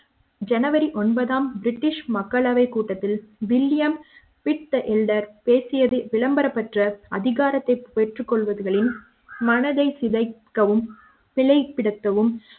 ஜனவரி ஒன்பதாம் பிரிட்டிஷ் மக்களவை கூட்டத்தில் வில்லியம் பித்த எல்டர் பேசியது விளம்பரம் பெற்ற அதிகாரத்தைப் பெற்றுக் கொள்வதிலும் மனதை சிதைக்கவும் சிறை படுத்தவும்